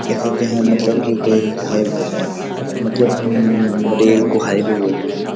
यखा क्या है मतलब की कोई हाई मतलब म-म-म रेल कु हाईवे होलु यु।